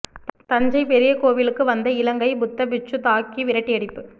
தஞ்சை பெரிய கோவிலுக்கு வந்த இலங்கை புத்த பிட்சு தாக்கி விரட்டியடிப்பு